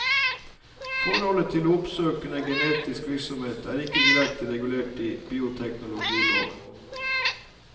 Forholdet til oppsøkende genetisk virksomhet er ikke direkte regulert i bioteknologiloven.